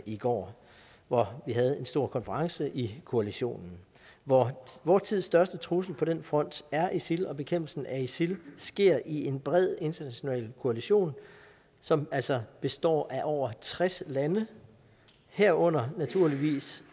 i går hvor vi havde en stor konference i koalitionen vor vor tids største trussel på den front er isil og bekæmpelsen af isil sker i en bred international koalition som altså består af over tres lande herunder naturligvis